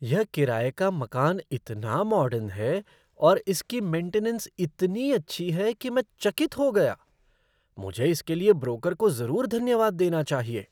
यह किराए का मकान इतना मॉडर्न है और इसकी मेंटेनेन्स इतनी अच्छी है कि मैं चकित हो गया। मुझे इसके लिए ब्रोकर को ज़रूर धन्यवाद देना चाहिए।